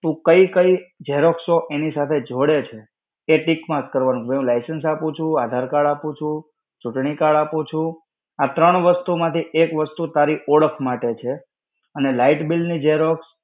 તું કઈ-કઈ Xerox એની સાથે જોડે છે, એ tick-mark કરવાનું, કે હું license આપું છું, આધાર card આપું છું, ચૂંટણી card આપું છું. આ ત્રણ વસ્તુ માંથી એક વસ્તુ તારી ઓળખ માટે છે, અને light bill ની Xerox